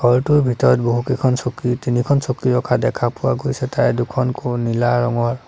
ঘৰটোৰ ভিতৰত বহুকেইখন চকী তিনিখন চকী ৰখা দেখা পোৱা গৈছে তাৰে দুখন ঘোৰ নীলা ৰঙৰ।